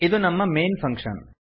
ಇದು ನಮ್ಮ main function